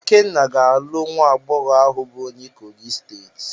Ikenna ga-alụ nwa agbọghọ ahụ bụ onye Kogi steeti.